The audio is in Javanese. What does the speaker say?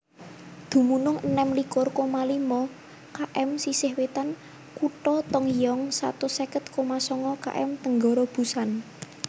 Dumunung enem likur koma limo km sisih wètan kutha Tongyeong satus seket koma sanga km tenggara Busan